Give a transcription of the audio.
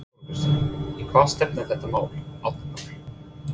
Þóra Kristín: Í hvað stefnir þetta mál Árni Páll?